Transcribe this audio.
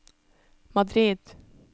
Madrid